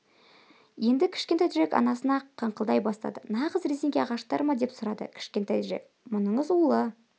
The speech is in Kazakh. енді кішкентай джек анасына қыңқылдай бастады нағыз резеңке ағаштар ма деп сұрады кішкентай джек мұныңыз улы